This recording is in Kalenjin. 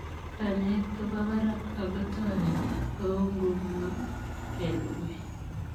Kanyaet koo poo paraak ako toretii ;kou ngunoo kelugui